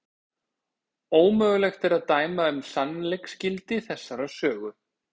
Ómögulegt er að dæma um sannleiksgildi þessarar sögu.